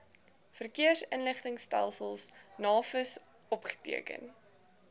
verkeersinligtingstelsel navis opgeteken